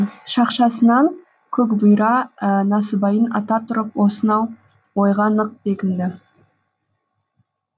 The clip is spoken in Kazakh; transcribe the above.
шақшасынан көкбұйра насыбайын ата тұрып осынау ойға нық бекінді